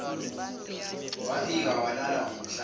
waphika walala ngomhlane